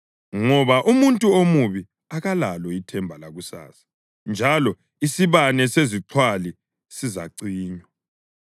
ngoba umuntu omubi akalalo ithemba lakusasa, njalo isibane sezixhwali sizacinywa.